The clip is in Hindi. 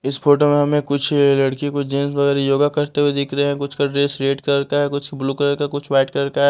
इस फोटो में हमें कुछ लड़की कुछ जेंट्स वगैरह योगा करते हुए दिख रहे हैं कुछ का ड्रेस रेड कलर का है कुछ ब्लू कलर का कुछ व्हाइट का है।